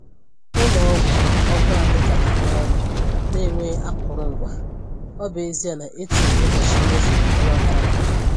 Ụlọ ọgwụ ọgwụ anyị ka na-arụ ọrụ n’enweghị akụrụngwa, ọ bụ ezie na e tụrụ ụbọchị nnyefe ọnwa gara aga.